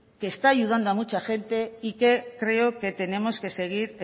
que está ayudando a mucha gente y que creo que tenemos que seguir